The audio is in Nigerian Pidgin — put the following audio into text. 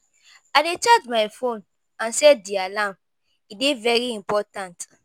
I dey charge my phone and set di alarm. e dey very important.